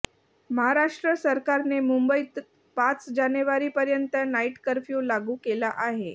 महाराष्ट्र सरकारने मुंबईत पाच जानेवारी पर्यंत नाईट कर्फ्यू लागू केला आहे